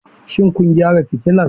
Shin kun gyara fitilar?